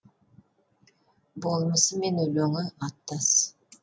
болмысы мен өлеңі аттас